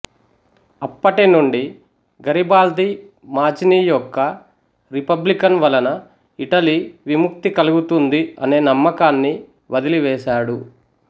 అప్పటినుండి Garibaldi Mazzini యొక్క republican వలన ఇటలీ విముక్తి కలుగుతుంది అనే నమ్మకాన్ని వదిలివేసాడు